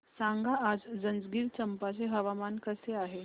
सांगा आज जंजगिरचंपा चे हवामान कसे आहे